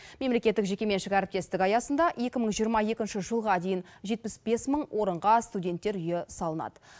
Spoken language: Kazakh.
мемлекеттік жекеменшік әріптестік аясында екі мың жиырма екінші жылға дейін жетпіс бес мың орынға студенттер үйі салынады